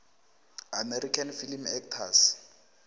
american film actors